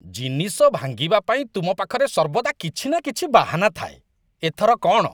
ଜିନିଷ ଭାଙ୍ଗିବା ପାଇଁ ତୁମ ପାଖରେ ସର୍ବଦା କିଛି ନା କିଛି ବାହାନା ଥାଏ। ଏଥର କ'ଣ?